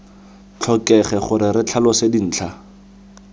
tlhokege gore re tlhalose dintlha